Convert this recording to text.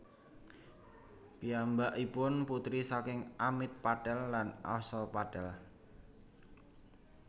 Piyambakipun putri saking Amit Patel lan Asha Patel